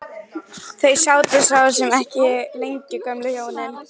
Þau sátu svo sem ekki lengi gömlu hjónin.